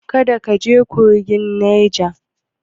Kada ka je kogin Naja!